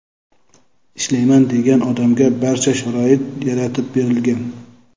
ishlayman degan odamga barcha sharoit yaratib berilgan.